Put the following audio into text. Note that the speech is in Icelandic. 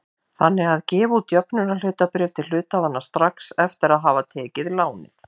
þannig að gefa út jöfnunarhlutabréf til hluthafanna strax eftir að hafa tekið lánið.